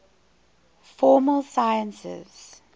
formal sciences